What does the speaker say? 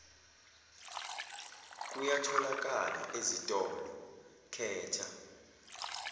kuyatholakala ezitolo khetha